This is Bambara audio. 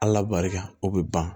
Ala barika o bɛ ban